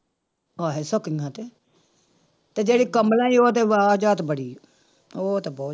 ਹੈ ਸਕੀਆਂ ਤੇ ਤੇ ਜਿਹੜੀ ਕਮਲਾ ਸੀ ਉਹ ਤੇ ਬੜੀ ਉਹ ਤੇ ਬਹੁ